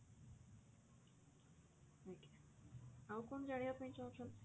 ଆଜ୍ଞା ଆଉ କଣ ଜାଣିବା ପାଇଁ ଚାହୁଁଛନ୍ତି?